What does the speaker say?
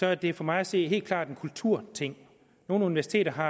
er det for mig at se helt klart en kulturting nogle universiteter har